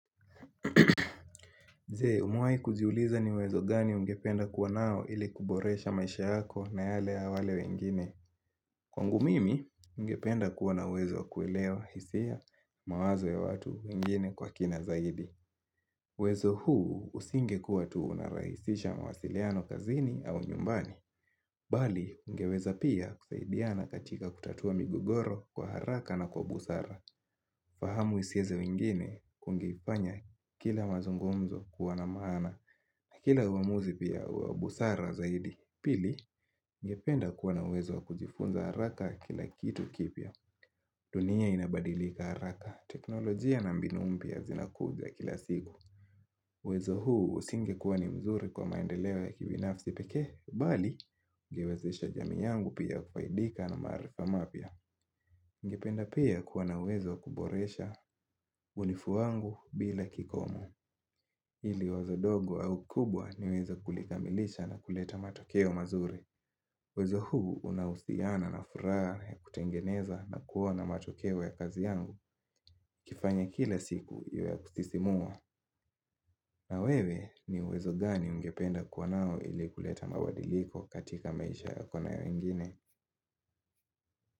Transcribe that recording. Je, umewahi kujiuliza ni uwezo gani ungependa kuwa nao ili kuboresha maisha yako na yale ya wale wengine. Kwangu mimi, ningependa kuwa na wezo kuelewa hisia mawazo ya watu wengine kwa kina zaidi. Uwezo huu usingekuwa tu unarahisisha mawasiliano kazini au nyumbani. Bali, ungeweza pia kusaidiana katika kutatua migogoro kwa haraka na kwa busara. Fahamu hisia za wengine kungeifanya kila mazungumzo kuwa na maana na kila uamuzi pia wa busara zaidi. Pili, ngependa kuwa na wezo kujifunza haraka kila kitu kipya. Dunia inabadilika haraka. Teknolojia na mbinu mpya zinakuja kila siku. Uwezo huu usingekuwa ni mzuri kwa maendeleo ya kibinafsi pekee. Bali, ningewezesha jamii yangu pia kufaidika na maarifa mapya. Ningependa pia kuwa na uwezo wa kuboresha ulifu wangu bila kikomo. Ili wazo dogo au kubwa niwezE kulikamilisha na kuleta matokeo mazuri uwezo huu unahusiana na furaha ya kutengeneza na kuona matokeo ya kazi yangu kifanya kila siku ya kutisimua na wewe ni uwezo gani ungependa kuwa nao ili kuleta mabadiliko katika maisha yako na ya wengine?